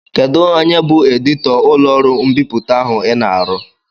Kedụ onye bụ editọ ụlọọrụ mbipụta ahụ I na-arụ?